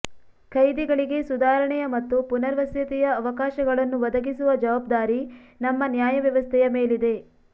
ಖೈದಿಗಳಿಗೆ ಸುಧಾರಣೆಯ ಮತ್ತು ಪುನರ್ವಸತಿಯ ಅವಕಾಶಗಳನ್ನು ಒದಗಿಸುವ ಜವಾಬ್ದಾರಿ ನಮ್ಮ ನ್ಯಾಯವ್ಯವಸ್ಥೆಯ ಮೇಲಿದೆ